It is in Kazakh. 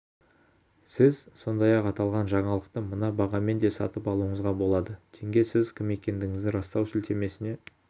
сіз сондай-ақ аталған жаңалықты мына бағамен де сатып алуыңызға болады тенге сіз кім екендігіңізді растау сілтемесіне